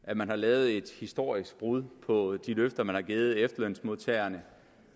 at man har lavet et historisk brud på de løfter man har givet efterlønsmodtagerne